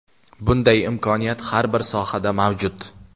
Bunday imkoniyat har bir sohada mavjud.